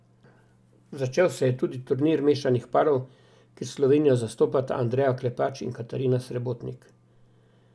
Začel se je tudi turnih mešanih parov, kjer Slovenijo zastopata Andreja Klepač in Katarina Srebotnik.